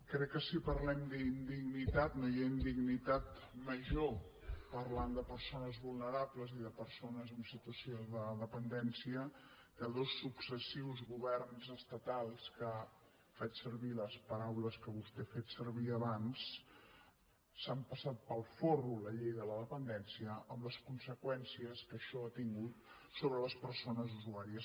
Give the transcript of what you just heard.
crec que si parlem d’indignitat no hi ha indignitat major parlant de persones vulnerables i de persones amb situació de dependència que dos successius governs estatals que faig servir les paraules que vostè ha fet servir abans s’han passat pel folre la llei de la dependència amb les conseqüències que això ha tingut sobre les persones usuàries